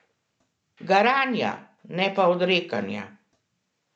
Garanja, ne pa odrekanja.